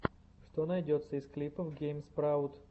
что найдется из клипов гейм спраут